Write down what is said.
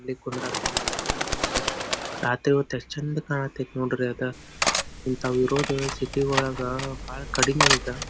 ಅಲ್ಲಿ ಕುಂದ್ರದ ಯೆಸ್ಟ್ ಚೆಂದ ಮಾಡ್ಯಾರ ರಾತ್ರಿ ಹೋತ್ ಯೆಸ್ಟ್ ಚೆಂದ ಕಾಣತೈತಿ ನೋಡ್ರ ಅದು ಇಂಥ ಊರುಗಳು ಸಿಟಿ ಒಳಗ ಬಹಳ ಕಡಿಮೆ ಈಗ.